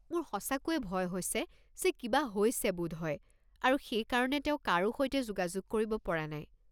মোৰ সঁচাকৈয়ে ভয় হৈছে যে কিবা হৈছে বোধহয় আৰু সেইকাৰণে তেওঁ কাৰো সৈতে যোগাযোগ কৰিব পৰা নাই।